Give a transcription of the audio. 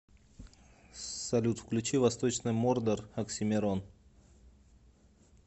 салют включи восточный мордор оксимирон